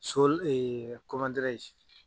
Sul